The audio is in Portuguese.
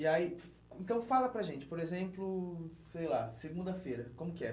E aí, então fala para a gente, por exemplo, sei lá, segunda-feira, como que é?